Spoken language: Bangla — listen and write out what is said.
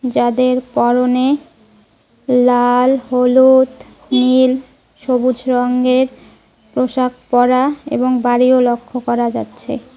যাদের পরনে লাল হলুদ নীল সবুজ রঙের পোশাক পরা এবং বাড়িও লক্ষ্য করা যাচ্ছে।